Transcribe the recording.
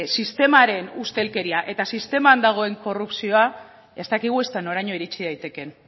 sistemaren ustelkeria eta sisteman dagoen korrupzioa ez dakigu ezta noraino iritsi daitekeen